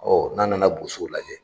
Ɔ n'a nana Bosow lajɛ